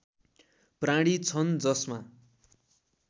प्राणी छन् जसमा